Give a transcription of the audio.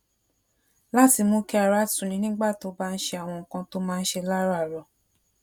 láti mú kí ara tuni nígbà tó bá ń ṣe àwọn nǹkan tó máa ń ṣe láràárò